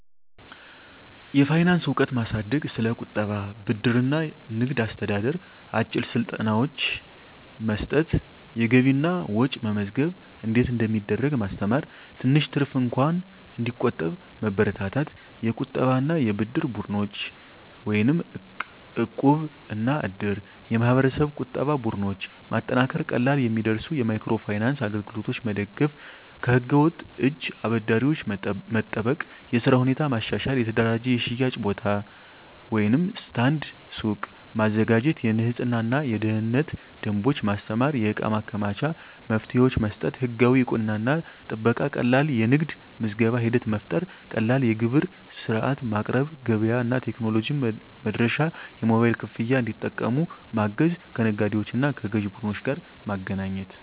የፋይናንስ እውቀት ማሳደግ ስለ ቁጠባ፣ ብድር እና ንግድ አስተዳደር አጭር ስልጠናዎች መስጠት የገቢና ወጪ መመዝገብ እንዴት እንደሚደረግ ማስተማር ትንሽ ትርፍ እንኳን እንዲቆጠብ መበረታታት የቁጠባና የብድር ቡድኖች (እቃብ/እድር ) የማህበረሰብ ቁጠባ ቡድኖች ማጠናከር ቀላል የሚደርሱ የማይክሮ ፋይናንስ አገልግሎቶች መደገፍ ከህገ-ወጥ እጅ አበዳሪዎች መጠበቅ የሥራ ሁኔታ ማሻሻል የተደራጀ የሽያጭ ቦታ (ስታንድ/ሱቅ) ማዘጋጀት የንፅህናና የደህንነት ደንቦች ማስተማር የእቃ ማከማቻ መፍትሄዎች መስጠት ህጋዊ እውቅናና ጥበቃ ቀላል የንግድ ምዝገባ ሂደት መፍጠር ቀላል የግብር ሥርዓት ማቅረብ ገበያ እና ቴክኖሎጂ መድረሻ የሞባይል ክፍያ እንዲጠቀሙ ማገዝ ከነጋዴዎችና ከግዥ ቡድኖች ጋር ማገናኘት